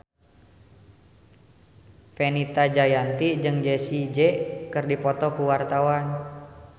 Fenita Jayanti jeung Jessie J keur dipoto ku wartawan